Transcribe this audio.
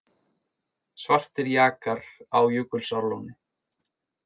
Svartir jakar á Jökulsárlóni